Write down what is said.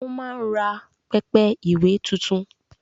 O máa ń rà pẹpẹ ìwé tuntun